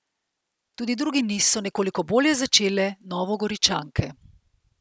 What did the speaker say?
Tudi drugi niz so nekoliko bolje začele Novogoričanke.